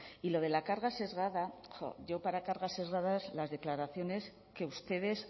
y lo de la carga sesgada jo yo para carga sesgada son las declaraciones que ustedes